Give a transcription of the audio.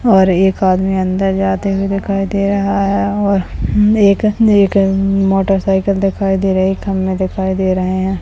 और एक आदमी अंदर जाते दिखाई दे रहा है और एक मोटरसाइकिल दिखाई दे रही है खंभे दिखाई दे रहे है।